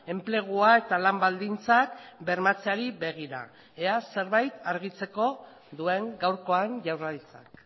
enplegua eta lan baldintzak bermatzeari begira ea zerbait argitzeko duen gaurkoan jaurlaritzak